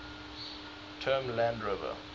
term land rover